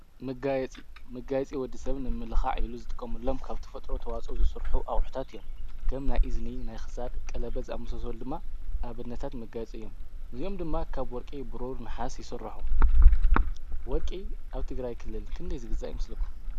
መጋይጺ ምጋይጺ ወዲ ሰብን ንምልኻዕ ኢሉ ዝጥቆም ሎም ካብቲ ፈጥሮ ተዋጾ ዝሥርኁ ኣውሑታት እዮም ከም ናይ ኢዝኒ ፡ናይኽሳድ ፡ቀለበዝ ኣምሰሶወል ድማ ኣብነታት ምጋይጽ እዮም ንዙኦም ድማ ካብ ወርቄ ብሮ ንሓስ ይሱራሑ። ወርቂ ኣብቲ ግራይ ክልልን ክንደይ ዝግዛእ ይምስለኩም?